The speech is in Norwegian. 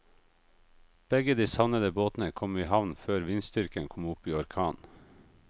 Begge de savnede båtene kom i havn før vindstyrken kom opp i orkan.